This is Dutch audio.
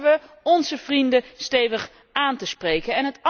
Durven we onze vrienden stevig aan te spreken?